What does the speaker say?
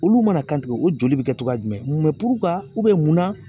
Olu mana kan tigɛ o joli bɛ kɛ cogoya jumɛn mɛ mun na